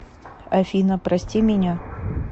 афина прости меня